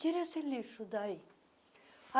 Tira esse lixo daí.